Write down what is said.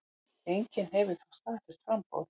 Enginn hefur þó staðfest framboð.